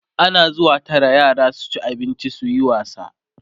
ana zuwa Tara yara su ci abinci suyi wasa